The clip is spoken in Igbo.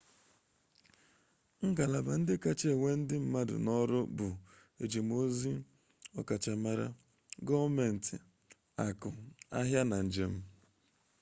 ngalaba ndị kachasị ewe ndị mmadụ n'ọrụ bụ ejemozi ọkachamara gọọmenti akụ ahịa na njem